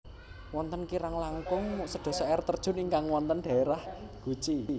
Wonten kirang langkung sedasa air terjun ingkang wonten dhaérah Guci